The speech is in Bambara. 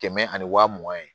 Kɛmɛ ani waa mugan ye